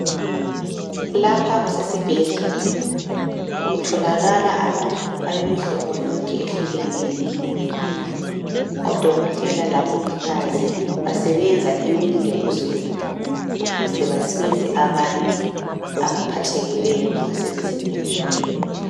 Lapha kusesibhedlela kutholakala abantu bonke abemihlobo ehlukeneyo odokotela labongikazi basebenza emini lebusuku ukuze basize abantu abaphathekileyo ngasemzimbeni.